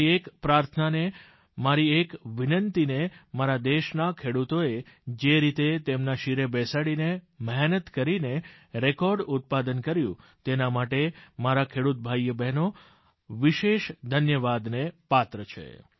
મારી એક પ્રાર્થનાને મારી એક વિનંતીને મારા દેશના ખેડૂતોએ જે રીતે તેમના શિરે બેસાડીને મહેનત કરીને રેકોર્ડ ઉત્પાદન કર્યું તેના માટે મારા ખેડૂત ભાઈબહેન વિશેષ ધન્યવાદને પાત્ર છે